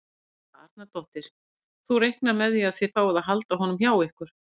Helga Arnardóttir: Þú reiknar með að þið fáið að halda honum hjá ykkur?